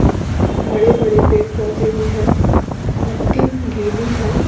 बड़े बड़े पेड़ पौधे भी है मट्टी गीली है।